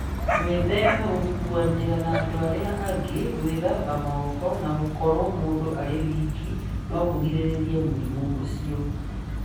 Gwĩthema gũkuuanĩra na andũ arĩa angĩ, gwĩthamba moko, na gũkorũo mũndũ arĩ wiki no kũgirĩrĩrie mũrimũ ũcio.